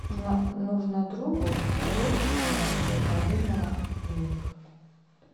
нужно другу бросить на счет мобильного денег